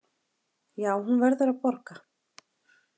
Já, hún verður að borga.